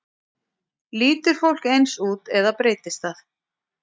Lítur fólk eins út eða breytist það?